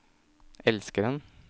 elskeren